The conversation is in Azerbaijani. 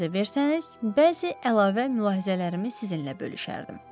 İcazə versəniz, bəzi əlavə mülahizələrimi sizinlə bölüşərdim.